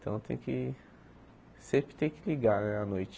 Então tem que... sempre tem que ligar á noite.